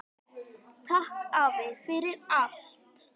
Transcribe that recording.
Takk afi, fyrir allt.